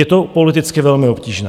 Je to politicky velmi obtížné.